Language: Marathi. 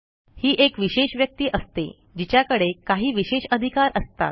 ही एक विशेष व्यक्ती असते जिच्याकडे काही विशेष अधिकार असतात